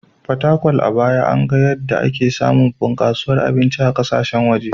Fatakwal, a baya, an ga yadda ake samun bunkasuwar abinci na kasashen waje..